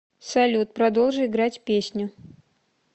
салют продолжи играть песню